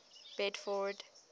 bedford